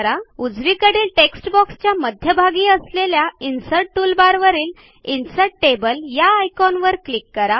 उजवीकडील टेक्स्टबॉक्सच्या मध्यभागी असलेल्या इन्सर्ट टूलबारवरील इन्सर्ट टेबल या आयकॉनवर क्लिक करा